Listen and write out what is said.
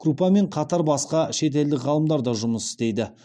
крупамен қатар басқа шетелдік ғалымдар да жұмыс істейді